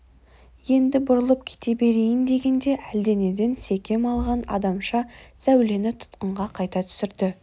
енді бұрылып кете берейін дегенде әлденеден секем алған адамша сәулені тұтқынға қайта түсірді